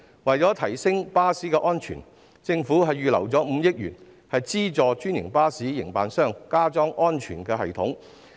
為了提升巴士的安全水平，政府預留了5億元資助專營巴士營辦商加裝安全系統。